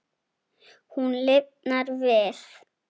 Hún lifnar við.